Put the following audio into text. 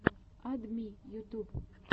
ад ми ютуб